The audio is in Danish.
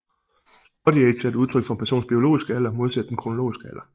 Bodyage er et udtryk for en persons biologiske alder modsat den kronologiske alder